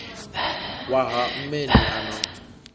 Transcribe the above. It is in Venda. wa ha mmeni a no